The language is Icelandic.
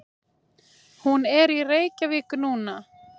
Hún er í Reykjavík núna.